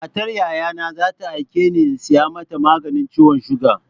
Matar Yayana za ta aike ni in saya mata maganin ciwon suga.